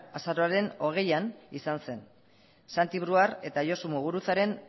azaroaren hogeian izan zen santi brouard eta josu muguruzaren